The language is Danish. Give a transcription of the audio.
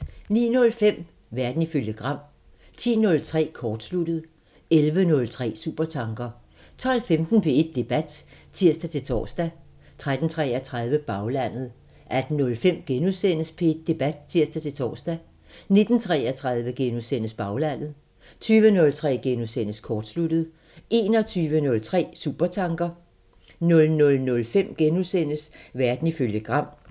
09:05: Verden ifølge Gram 10:03: Kortsluttet 11:03: Supertanker 12:15: P1 Debat (tir-tor) 13:33: Baglandet 18:05: P1 Debat *(tir-tor) 19:33: Baglandet * 20:03: Kortsluttet * 21:03: Supertanker 00:05: Verden ifølge Gram *